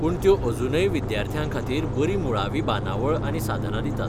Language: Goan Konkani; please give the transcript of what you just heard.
पूण त्यो अजूनय विद्यार्थ्यां खातीर बरी मुळावी बांदावळ आनी साधनां दितात.